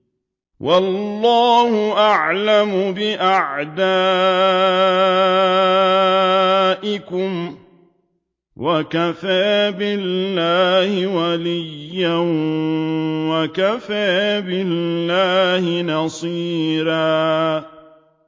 وَاللَّهُ أَعْلَمُ بِأَعْدَائِكُمْ ۚ وَكَفَىٰ بِاللَّهِ وَلِيًّا وَكَفَىٰ بِاللَّهِ نَصِيرًا